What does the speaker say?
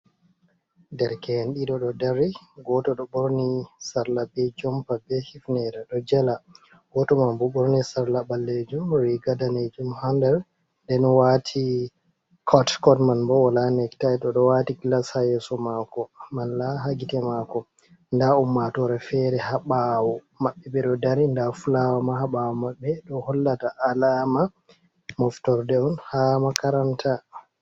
Derke’en ɗiɗo ɗo dari goto ɗo ɓorni sarla be jompa be hifnera ɗo jela, goto man bo ɗo ɓorni sarla ɓallejum ri ga danejum ha nder den wati cott scottman bo wola nectaito oɗo wati glas ha yeso mako mala ha gitte mako nda ummatore fere ha ɓawo mabɓe ɓe ɗo dari nda fulawa ma ha ɓawo maɓɓe ɗo hollata alama moftorde on ha makaranta.